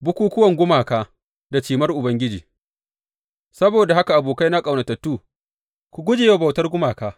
Bukukkuwan gumaka da cimar Ubangiji Saboda haka abokaina ƙaunatattu, ku guje wa bautar gumaka.